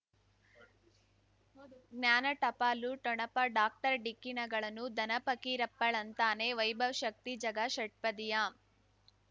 ಜ್ಞಾನ ಟಪಾಲು ಠೊಣಪ ಡಾಕ್ಟರ್ ಢಿಕ್ಕಿ ಣಗಳನು ಧನ ಫಕೀರಪ್ಪ ಳಂತಾನೆ ವೈಭವ್ ಶಕ್ತಿ ಝಗಾ ಷಟ್ಪದಿಯ